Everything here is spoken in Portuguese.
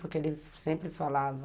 Porque ele sempre falava...